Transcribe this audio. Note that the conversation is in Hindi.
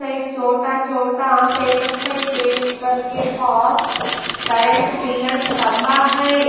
साइड छोटा छोटा पेपर साइज करेंट पिलर्स स्तम्भा है।